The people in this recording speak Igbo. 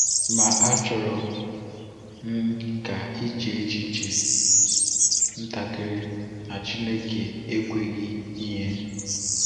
Ma achọrọ m ka i chee echiche ntakịrị na Chineke ekweghị ihe.